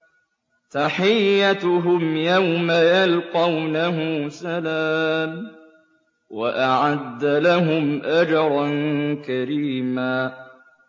تَحِيَّتُهُمْ يَوْمَ يَلْقَوْنَهُ سَلَامٌ ۚ وَأَعَدَّ لَهُمْ أَجْرًا كَرِيمًا